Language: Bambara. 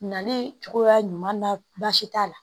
Nali cogoya ɲuman na baasi t'a la